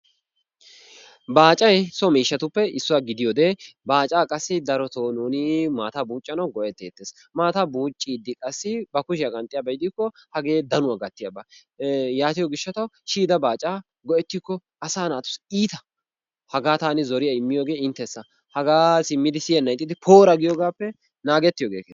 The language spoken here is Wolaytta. baacay so miishshatuppe issuwaa gidiyoode baacaa qassi darotoo nuuni maataa buuccanawu go'etettees. Maataa buuccidi qassi ba kushshiyaa qanxxiyaaba gidikko hagee danuwaa gattiyaaba ee yaatiyoo giishshatawu shiyida baacaa go"ettiko asaa naatussi iita. Hagaa taani zoriyaa immiyoogee intessa. Hagaa simmidi siiyennan ixxidi poora giyoogappe naagettiyoogee keeha.